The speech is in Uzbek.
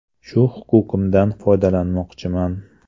Shu huquqimdan foydalanmoqchiman.